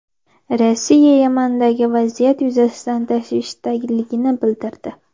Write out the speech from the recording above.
Rossiya Yamandagi vaziyat yuzasidan tashvishdaligini bildirdi.